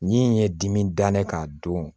Min ye dimi dannen k'a don